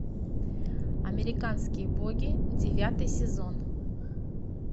американские боги девятый сезон